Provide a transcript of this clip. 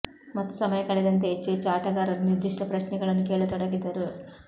ಮತ್ತು ಸಮಯ ಕಳೆದಂತೆ ಹೆಚ್ಚು ಹೆಚ್ಚು ಆಟಗಾರರು ನಿರ್ದಿಷ್ಟ ಪ್ರಶ್ನೆಗಳನ್ನು ಕೇಳತೊಡಗಿದರು